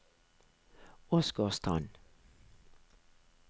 Åsgårdstrand